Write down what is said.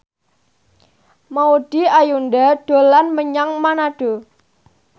Maudy Ayunda dolan menyang Manado